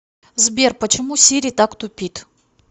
сбер почему сири так тупит